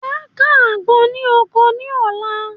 Màá ká àgbọn ní oko ní ọ̀la